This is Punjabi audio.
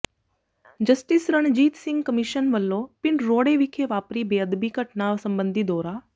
ਜਸਟਿਸ ਰਣਜੀਤ ਸਿੰਘ ਕਮਿਸ਼ਨ ਵਲੋਂ ਪਿੰਡ ਰੋਡੇ ਵਿਖੇ ਵਾਪਰੀ ਬੇਅਦਬੀ ਘਟਨਾ ਸਬੰਧੀ ਦੌਰਾ